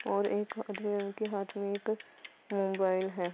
और्ब एक आधे रंग के हाथ बॉईल है।